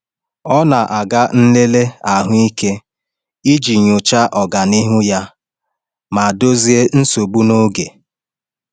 Ọ na-aga nlele ahụike iji nyochaa ọganihu ya ma dozie nsogbu n’oge.